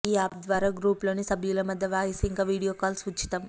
ఈ యాప్ ద్వారా గ్రూప్లోని సభ్యల మధ్య వాయిస్ ఇంకా వీడియో కాల్స్ ఉచితం